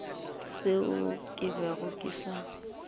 seo ke bego ke sa